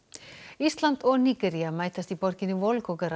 ísland og Nígería mætast í borginni